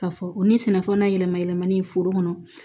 Ka fɔ o ni sɛnɛfɛn na yɛlɛma yɛlɛmali ye foro kɔnɔ